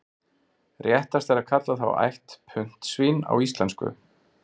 Réttast er að kalla þá ætt puntsvín á íslensku.